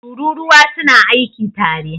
Tururuwa su na aiki tare